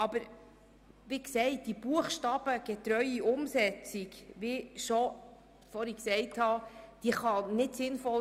Aber wie gesagt ist hier eine buchstabengetreue Umsetzung nicht sinnvoll.